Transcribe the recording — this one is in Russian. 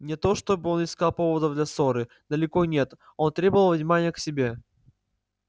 не то чтобы он искал поводов для ссоры далеко нет он требовал внимания к себе